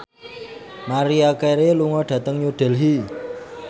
Maria Carey lunga dhateng New Delhi